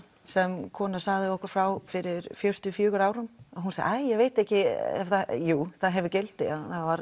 sem kona sagði okkur frá fyrir fjörutíu og fjórum árum hún sagði æj ég veit ekki en jú það hefur gildi